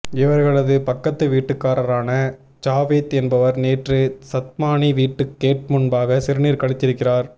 இவர்களது பக்கத்து வீட்டுக்காரரான ஜாவேத் என்பவர் நேற்று சத்மானி வீட்டு கேட் முன்பாக சிறுநீர் கழித்திருக்கிறார்